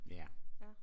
Ja